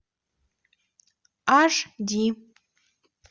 аш ди